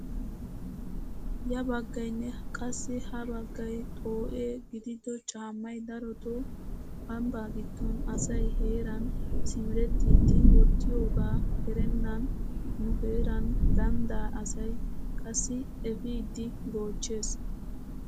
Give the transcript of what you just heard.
Ya baggaynne qassi ha baggay xoo"e gidido caammay darotoo ambbaa giddon asay heeran simerettiidi wottiyoogaa erennan nu heeran ganddaa asay qassi epiidi goochchees!